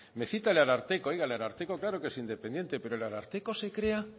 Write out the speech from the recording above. me cita el ararteko el ararteko claro que es independiente pero el ararteko se crea